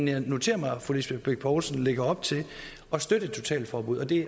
jeg har noteret mig at fru lisbeth bech poulsen lægger op til at støtte et totalforbud og det er